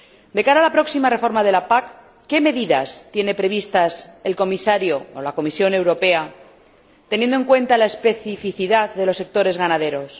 De cara a la próxima reforma de la PAC, ¿qué medidas tiene previstas el Comisario, o la Comisión Europea, teniendo en cuenta la especificidad de los sectores ganaderos?